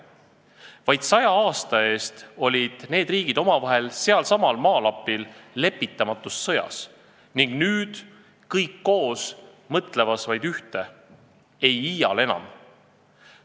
Vaid saja aasta eest olid need riigid omavahel selsamal maalapil lepitamatus sõjas, aga nüüd on nad kõik koos mõtlemas vaid ühte: "Ei iial enam!